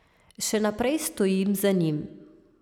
Še naprej stojim za njim.